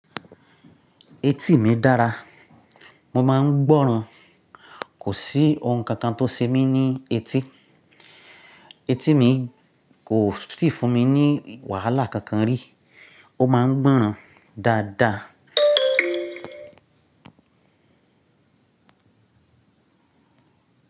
Etí mi dára, mo máa ń gbọ́ràn. Kò sí ohun kankan tó ṣe mí ní etí. Etí mi kò sì fún mi ní wàhálà kankan rí. Ó máa ń gbọ́ràn dáadáa.